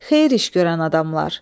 Xeyir iş görən adamlar.